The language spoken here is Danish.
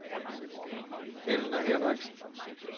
Elna Henriksen